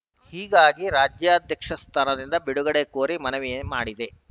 ಹೀಗಾಗಿ ರಾಜ್ಯಾಧ್ಯಕ್ಷ ಸ್ಥಾನದಿಂದ ಬಿಡುಗಡೆ ಕೋರಿ ಮನವಿ ಮಾಡಿದೆ